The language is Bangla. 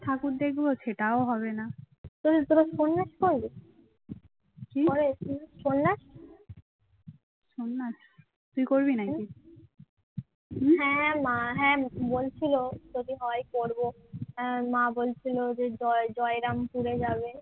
হ্যাঁ মা বলছিল যে জয় জয়রামপুরে যাবে